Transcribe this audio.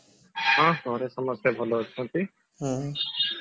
ହଁ ଘରେ ସମସ୍ତେ ଭଲ ଅଛନ୍ତି